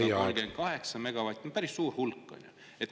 … 938 megavatti – päris suur hulk, on ju.